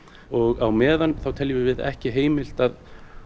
og á meðan þá teljum við ekki heimilt að